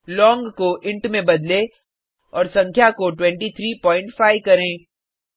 लोंग को इंट में बदलें और संख्या को 235 करें